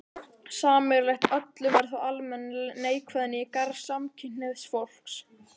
Sameiginlegt öllum er þó almenn neikvæðni í garð samkynhneigðs fólks.